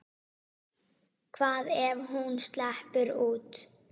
Hvað ef hún sleppur út?